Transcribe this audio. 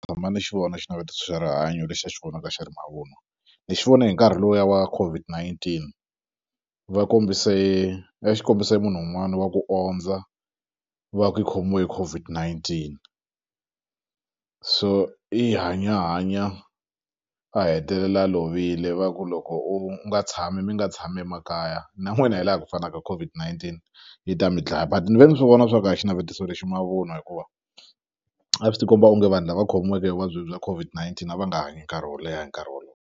Tshama ni xi vona xinavetiso xa rihanyo lexi a xi vonaka xi ri mavunwa ni xi vone hi nkarhi lowuya wa COVID-19 va kombise a xikombise munhu wun'wani wa ku ondza va ku i khomiwe hi COVID-19 so i hanye a hanya a hetelela a lovile va ku loko u nga tshami mi nga tshami makaya na n'wina hi laha ku fanaka COVID-19 yi ta mi dlaya but ni ve ni swi vona swa ku a xinavetiso lexi mavunwa hikuva a swi ti komba onge vanhu lava khomiweke hi vuvabyi bya COVID-19 a va nga hanyi nkarhi wo leha hi nkarhi wolowo.